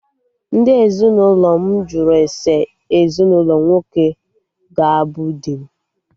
Ndị ezinụlọ m jụrụ ese ezinụlọ nwoke ga abụ di m